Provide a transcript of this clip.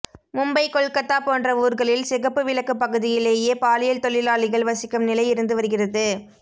மும்பை கொல்கத்தா போன்ற ஊர்களில் சிகப்பு விளக்கு பகுதியிலேயே பாலியல் தொழிலாளிகள் வசிக்கும் நிலை இருந்துவருகிறது